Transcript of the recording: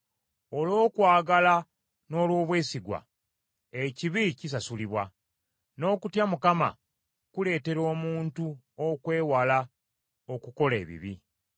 Olw’okwagala n’olw’obwesigwa, ekibi kisasulibwa, n’okutya Mukama kuleetera omuntu okwewala okukola ebibi.